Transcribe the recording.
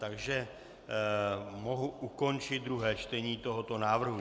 Takže mohu ukončit druhé čtení tohoto návrhu.